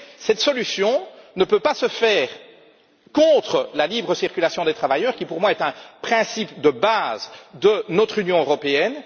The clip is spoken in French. Mais cette solution ne peut pas se faire au détriment de la libre circulation des travailleurs qui, pour moi, est un principe de base de notre Union européenne.